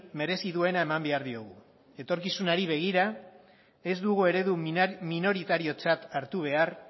merezi duena eman behar diogu etorkizunari begira ez dugu eredu minoritariotzat hartu behar